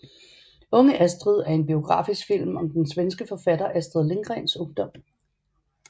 Unge Astrid er en biografisk film om den svenske forfatter Astrid Lindgrens ungdom